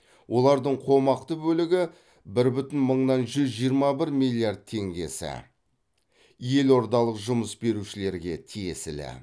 олардың қомақты бөлігі бір бүтін мыңнан жүз жиырма бір миллиард теңгесі елордалық жұмыс берушілерге тиесілі